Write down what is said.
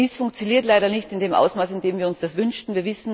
Dies funktioniert leider nicht in dem Ausmaß, in dem wir uns das wünschten.